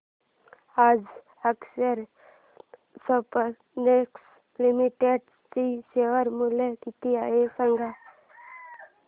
आज Akshar Spintex Limited चे share मूल्य किती आहे सांगा